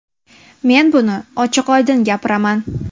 Men buni ochiq-oydin gapiraman.